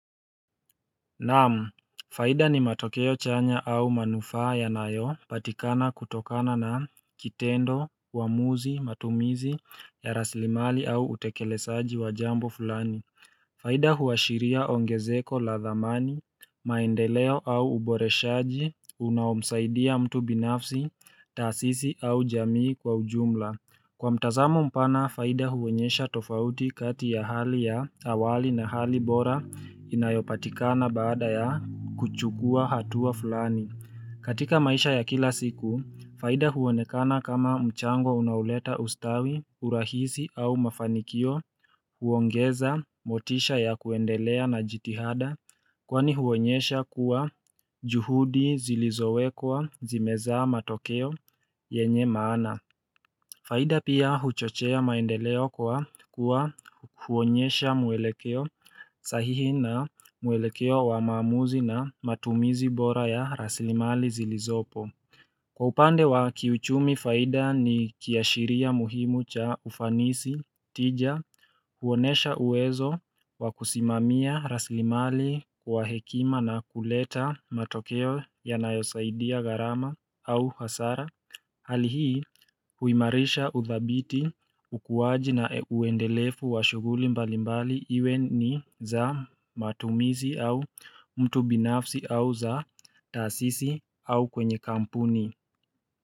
Na'am, faida ni matokeo chanya au manufaa yanayopatikana kutokana na kitendo, uamuzi, matumizi, ya raslimali au utekelezaji wa jambo fulani faida huashiria ongezeko la dhamani, maendeleo au uboreshaji, unaomsaidia mtu binafsi, taasisi au jamii kwa ujumla. Kwa mtazamo mpana, faida huonyesha tofauti kati ya hali ya awali na hali bora inayopatikana baada ya kuchukua hatua fulani. Katika maisha ya kila siku, faida huonekana kama mchango unaoleta ustawi, urahisi au mafanikio, huongeza motisha ya kuendelea na jitihada kwani huonyesha kuwa juhudi zilizowekwa zimezaa matokeo yenye maana. Faida pia huchochea maendeleo kwa kuwa huonyesha mwelekeo sahihi na mwelekeo wa maamuzi na matumizi bora ya raslimali zilizopo. Kwa upande wa kiuchumi faida ni kiashiria muhimu cha ufanisi tija huonesha uwezo wa kusimamia raslimali kwa hekima na kuleta matokeo yanayosaidia gharama au hasara. Hali hii huimarisha udhabiti, ukuwaji na uendelefu wa shughuli mbalimbali iwe ni za matumizi au mtu binafsi au za taasisi au kwenye kampuni.